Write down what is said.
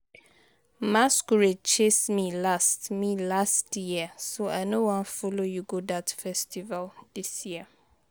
Masquerade chase me last me last year so I no wan follow you go dat festival dis year